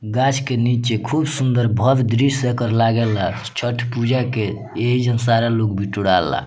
गाछ के नीचे खूब सुन्दर भव्य दृश्य एकर लागे ला छठ पूजा के एजन सारा लोग बिटुरा ला।